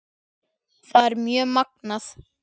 Það er mjög magnað.